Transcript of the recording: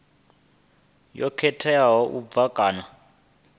yo khetheaho u bva kha